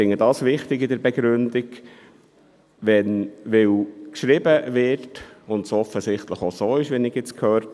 Folgender Punkt der Begründung erscheint mir wichtig: